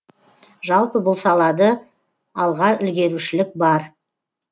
жалпы бұл салады алға ілгерушілік бар